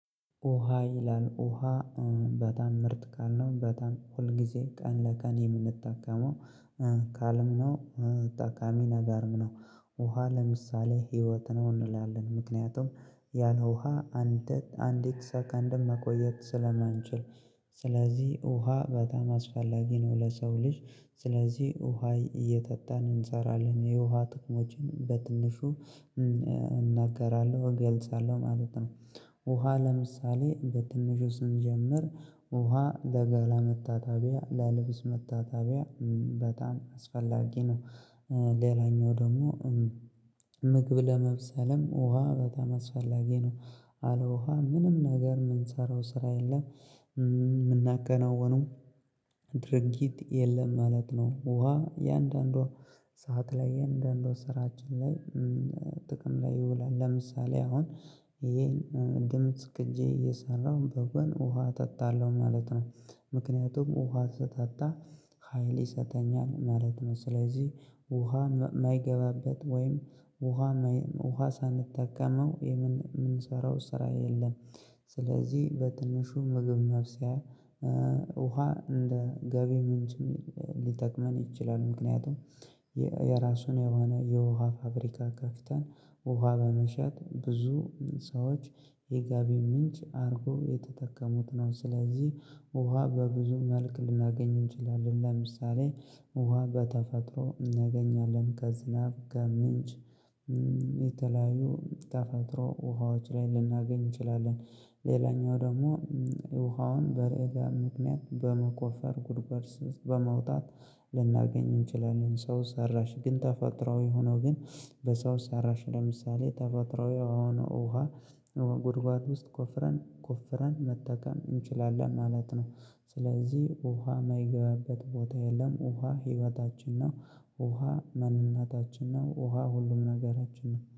ውሃ ይላል ውሃ በጣም ምርጥ ቃል ነው። በጣም ሁል ጊዜ ቀን ለቀን የምንጠቀመው ካለ ነው ጠቃሚ ነገርም ነው። ውሃ ለምሳሌ ህይወት ነው እንላለን። ምክንያቱም ያን ውሃ አንድ አንዲት ሰከንድም መቆየት ስለማንችል ስለዚህ ውሃ በጣም አስፈላጊ ነው ለሰው ልጅ ስለዚህ ውሃ እየጠጣን እንሰራለን። የውሃ ጥቅሞችን በትንሹ እናገራለሁ እገልጻለሁ ማለት ነው ውሃ ለምሳሌ በትንሹ ስንጀምር ውሃ ለገላ መታጠቢያ ለልብስ መታጠቢያ በጣም አስፈላጊ ነው። ሌላኛው ደግሞ ምግብ ለመብሰልም ውሃ በጣም አስፈላጊ ነው። አለውሃ ምንም ነገር የምንሰራው ስራ የለም የምናከናውነው ድርጊት የለም ማለት ነው። ውሃ እያንዳንዷ ሰዓት ላይ እያንዳንዷ ስራችን ላይ ጥቅም ላይ ይውላል። ለምሳሌ አሁን ይሄን ድምጽ ቅጂ እየሰራሁ በጎን ውሃ እጠጣለሁ ማለት ነው። ምክንያቱም ውሃ ስጠጣ ሀይል ይሰጠኛል ማለት ነው ስለዚህ ውሃ የማይገባበት ወይም ውሃ ማይ ውሃ ሳንጠቀመው የምንሰራው ስራ የለም። ስለዚህ በትንሹ ምግብ መብሰያ ውሃ እንደ ገቢ ምንጭም ሊጠቅመን ይችላል። ምክንያቱም የራሱን የሆነ የውሃ ፋብሪካ ከፍተን ውሃ በመሸጥ ብዙ ሰዎች የገቢ ምንጭ አድርጎ እየተጠቀሙት ነው ስለዚህ ውሃ በብዙ መልክ ልናገኝ እንችላለን። ለምሳሌ ውሃ በተፈጥሮ እናገኛለን ከዝናብ፣ ከምንጭ፣ የተለያዩ የተፈጥሮ ውሃዎች ላይ ልናገኝ እንችላለን። ሌላኛው ደግሞ ውሃውን በምበጋ ምክንያት በመቆፈር ጉድጓድ ስር በማውጣት ልናገኝ እንችላለን። ሰው ሰራሽ ግን ተፈጥሯዊ ሆኖ ግን በሰው ሰራሽ ለምሳሌ ተፈጥሮ የሆነ ውሃ ጉድጓድ ውስጥ ቆፍረን ቆፍረን መጠቀም እንችላለን ማለት ነው። ስለዚህ ውሃ የማይገባበት ቦታ የለም ውሃ ህይወታችን ነው ውሃ ማንነታችን ነው። ውሃ ሁሉም ነገራችን ነው።